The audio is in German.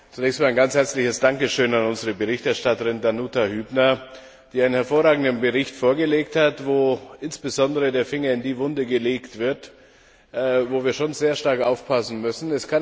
Zunächst einmal ein ganz herzliches Dankeschön an unsere Berichterstatterin Danuta Hübner, die einen hervorragenden Bericht vorgelegt hat, in dem insbesondere der Finger dort in die Wunde gelegt wird, wo wir schon sehr stark aufpassen müssen.